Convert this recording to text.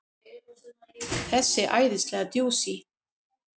Þessi æðislega djúsí!